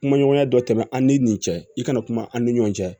Kuma ɲɔgɔnya dɔ tɛmɛ an ni nin cɛ i kana kuma an ni ɲɔgɔn cɛ